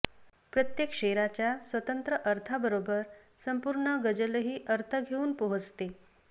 प्रत्येक शेराच्या स्वतंत्र अर्थाबरोबर संपूर्ण गजलही अर्थ घेऊन पोहोचते